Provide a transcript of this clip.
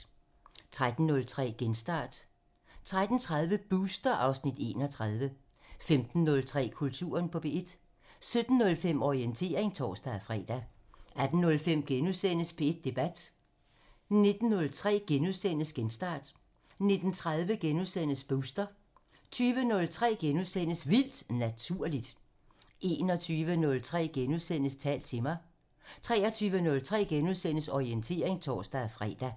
13:03: Genstart (Afs. 175) 13:30: Booster (Afs. 31) 15:03: Kulturen på P1 17:05: Orientering (tor-fre) 18:05: P1 Debat (Afs. 152)* 19:03: Genstart (Afs. 175)* 19:30: Booster (Afs. 31)* 20:03: Vildt Naturligt (Afs. 40)* 21:03: Tal til mig (Afs. 39)* 23:03: Orientering *(tor-fre)